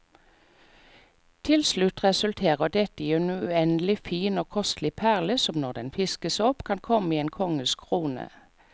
Til slutt resulterer dette i en uendelig fin og kostelig perle, som når den fiskes opp kan komme i en konges krone.